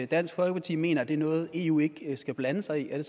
dansk folkeparti mener at det er noget eu ikke skal blande sig i er